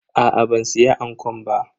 Aa ban siya ankon ba.